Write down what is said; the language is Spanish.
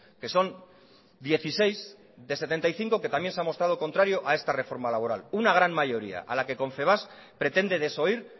que son dieciséis de setenta y cinco que también se ha mostrado contrario a esta reforma laboral una gran mayoría a la que confebask pretende desoír